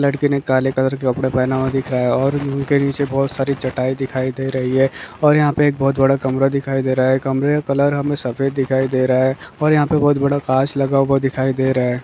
लड़के ने काले कलर के कपडे पहने हुए दिख रहा है। और उनके नीचे बहुत सारी चटाई दिखाई दे रही हैं। और यहाँ पे बहुत बड़ा कमरा दिखाई दे रहा हैं। कमरे का कलर हमे सफेद दिखाई दे रहा हैं। और यहाँ पर बहुत बड़ा कांच लगा हुआ दिखाई दे रहे हैं।